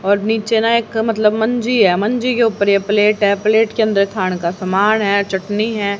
और नीचे ना एक मतलब मंजी है मंजी के ऊपर ये प्लेट है प्लेट के अंदर खाणे का समान है चटनी है।